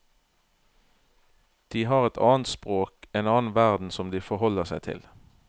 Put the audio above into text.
De har et annet språk, en annen verden som de forholder seg til.